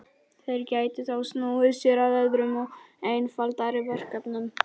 Þeir gætu þá snúið sér að öðrum og einfaldari verkefnum.